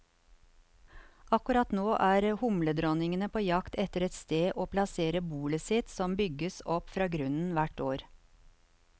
Akkurat nå er humledronningene på jakt etter et sted å plassere bolet sitt, som bygges opp fra grunnen hvert år.